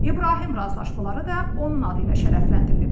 İbrahim razılaşmaları da onun adı ilə şərəfləndirilib.